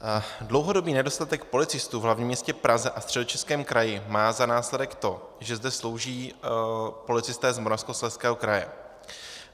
Dlouhodobý nedostatek policistů v hlavním městě Praze a Středočeském kraji má za následek to, že zde slouží policisté z Moravskoslezského kraje.